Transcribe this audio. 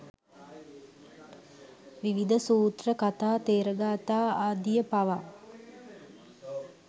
විවිධ සූත්‍ර, කථා ථෙර ගාථා ආදිය පවා